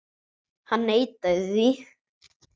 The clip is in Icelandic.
Hann neitaði því.